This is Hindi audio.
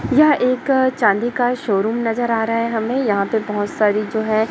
यह एक चांदी का शोरूम नजर आ रहा है हमें यहां पे बहोत सारी जो है।